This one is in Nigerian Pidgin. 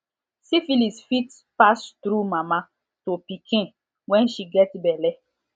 syphilis fit pass through mama to pikin when she get belle